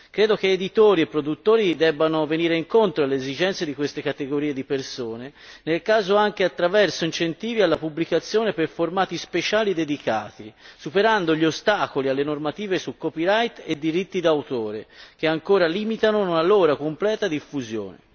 Credo che editori e produttori debbano venire incontro alle esigenze di queste categorie di persone, se del caso, anche attraverso incentivi alla pubblicazione per formati speciali dedicati, superando gli ostacoli alle normative sul copyright e i diritti d'autore che ancora limitano la loro completa diffusione.